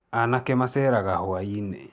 Anake maceraga rwa-inĩ